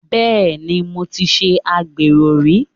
Bẹ́ẹ̀ni, mo ti ṣe agbẹ̀rò rí.